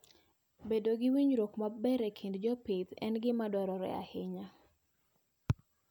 Bedo gi winjruok maber e kind jopith en gima dwarore ahinya.